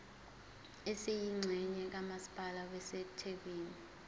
esiyingxenye kamasipala wasethekwini